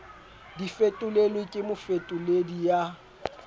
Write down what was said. di fetolelwe ke mofetoledi ya